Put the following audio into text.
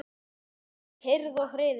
Nú er kyrrð og friður.